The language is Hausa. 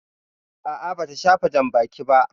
A'a, bata shafa janbaki ba.